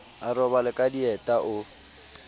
a robale ka dieta o